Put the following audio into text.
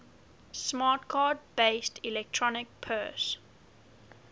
smart card based electronic purse